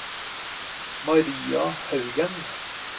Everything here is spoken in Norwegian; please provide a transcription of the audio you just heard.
Maria Haugen